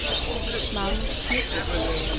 Magnus Smidt